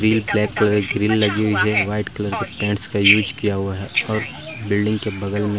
तीन फ्लैट पर ग्रिल लगी हुई है व्हाइट कलर के पेंट्स का यूज किया हुआ है और बिल्डिंग के बगल में --